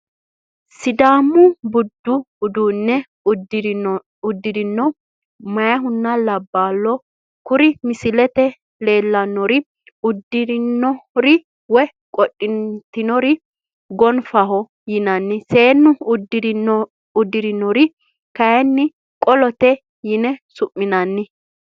Sidaamu budu uduune udidhino meeyahanna laballo, kuri misilete la'neemori udidhinore woyi qodhitinore go'nfaho yinann seenu udirinore kayinni qolote yine su'minanni